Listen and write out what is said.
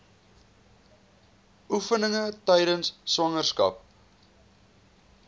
oefeninge tydens swangerskap